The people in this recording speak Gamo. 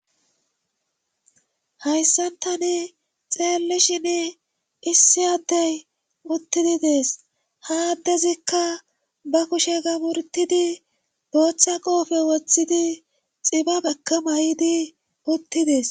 Hayssan tani xeellishin issi addey uttidi dees haaddezikka ba kushe gamurtidi dooththa qoofe woththidi xiba gakka may7idi uttidees.